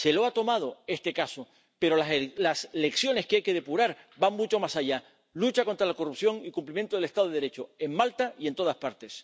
Se lo ha cobrado este caso, pero las lecciones que hay que depurar van mucho más allá lucha contra la corrupción y cumplimiento del Estado de Derecho, en Malta y en todas partes.